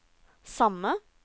samme